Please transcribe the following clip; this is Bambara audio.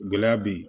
Gɛlɛya be yen